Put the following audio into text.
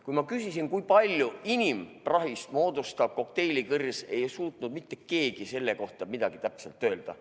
Kui ma küsisin, kui suure osa inimese tekitatud prahist moodustavad kokteilikõrred, ei suutnud mitte keegi selle kohta midagi täpselt öelda.